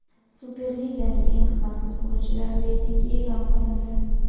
Superliganing eng qimmat futbolchilari reytingi e’lon qilindi.